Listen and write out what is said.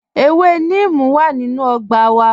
Ẹ̀wẹ̀ nímìí wà nínu ọgbà wà